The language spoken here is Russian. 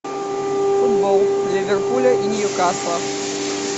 футбол ливерпуля и ньюкасла